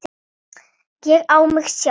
Ég á mig sjálf.